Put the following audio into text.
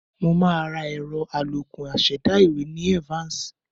Mo máa ra ẹ̀rọ àlòkù aṣẹ̀dá ìwé ní Evans